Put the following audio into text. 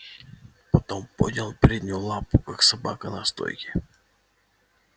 потом поднял переднюю лапу как собака на стойке